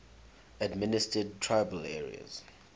administered tribal areas